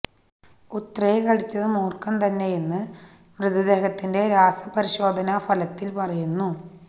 ഉത്രയെ കടിച്ചത് മൂർഖൻ തന്നെയെന്ന് മൃതദേഹത്തിന്റെ രാസപരിശോധനാ ഫലത്തിൽ പറയുന്നു